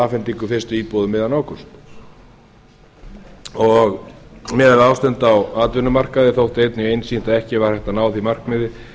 afhendingu fyrstu íbúða um miðjan ágúst miðað við ástand á atvinnumarkaði þótti einnig einsýnt að ekki væri hægt að ná því markmiði